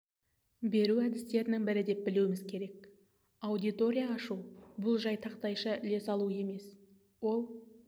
беру әдістерінің бірі деп білуіміз керек аудитория ашу бұл жай тақтайша іле салу емес ол